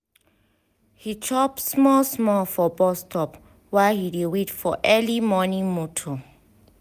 he chop small small for bus stop while he dey wait for early morning motor.